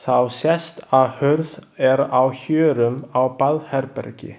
Þá sést að hurð er á hjörum á baðherbergi.